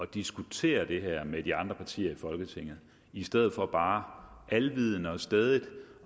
diskutere det her med de andre partier i folketinget i stedet for bare alvidende og stædigt